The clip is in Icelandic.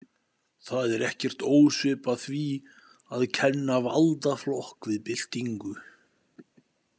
Það er ekkert ósvipað því að kenna valdaflokk við byltingu.